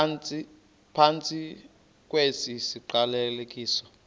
phantsi kwesi siqalekiso